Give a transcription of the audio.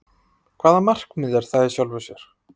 Hvaða markmið er það í sjálfu sér?